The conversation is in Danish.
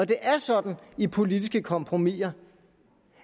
det er sådan i politiske kompromiser